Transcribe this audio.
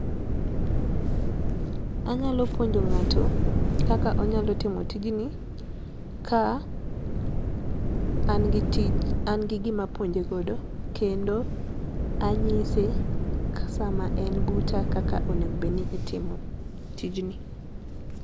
Anyalo puonjo ng'ato kaka onyalo timo tijni ka an gi gima apuonje godo kendo anyise ka sama en buta kaka onego obedni timo tijni.